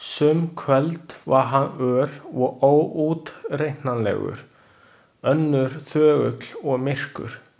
Sum kvöld var hann ör og óútreiknanlegur, önnur þögull og myrkur.